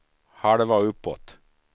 halva uppåt